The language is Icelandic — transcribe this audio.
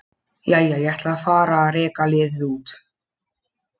Jæja, ég ætla að fara að reka liðið út.